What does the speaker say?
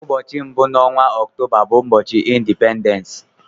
Ụbọchị mbụ n'onwa Ọktoba bu ubochi Indipendens.